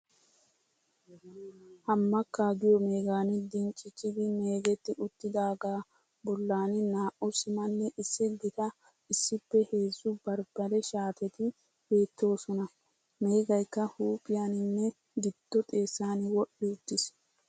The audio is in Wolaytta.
Hamakka giyo meegan dincicidi meegetti uttidagga bollan naa'u simmanne issi gitta issippe heezu barbare shaattetti beettosona. Meggaykka huuphphiyaninne giddo xeessan wodhdhi uttis.